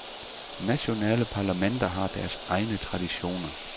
Nationale parlamenter har deres egne traditioner.